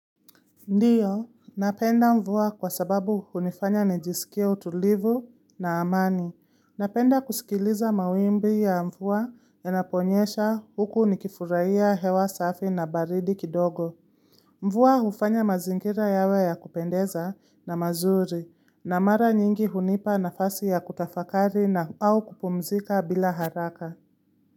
Ndiyo, napenda mvua kwa sababu hunifanya nejisikia utulivu na amani. Napenda kusikiliza mawimbi ya mvua inaponyesha huku nikifuraiya hewa safi na baridi kidogo. Mvua ufanya mazingira yawe ya kupendeza na mazuri, na mara nyingi hunipa nafasi ya kutafakari na au kupumzika bila haraka.